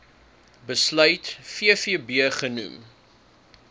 besluit vvb genoem